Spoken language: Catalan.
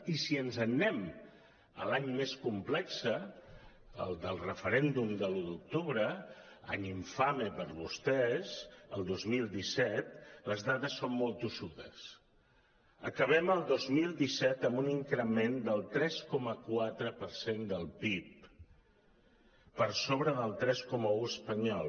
i si ens n’anem a l’any més complex el del referèndum de l’un d’octubre any infame per vostès el dos mil disset les dades són molt tossudes acabem el dos mil disset amb un increment del tres coma quatre per cent del pib per sobre del tres coma un espanyol